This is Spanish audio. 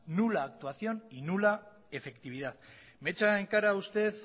nula actuación y nula efectividad me echa en cara usted